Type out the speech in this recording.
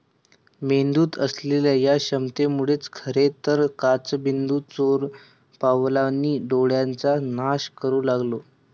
मेंदूत असलेल्या या क्षमतेमुळेच खरे तर काचबिंदू चोरपावलांनी डोळ्याचा नाश करू लागतो.